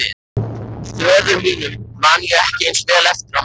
Föður mínum man ég ekki eins vel eftir og mömmu.